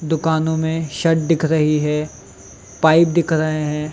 दुकानों में शट दिख रही है पाइप दिख रही है।